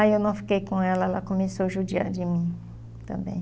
Aí eu não fiquei com ela, ela começou a judiar de mim também.